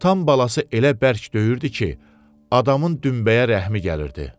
Atam balası elə bərk döyürdü ki, adamın dümbəyə rəhmi gəlirdi.